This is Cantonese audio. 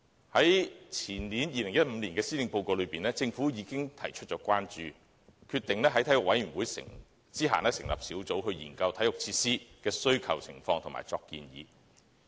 在2015年的施政報告中，政府已經提出關注，決定在體育委員會轄下成立小組，研究體育設施的需求情況及作出建議。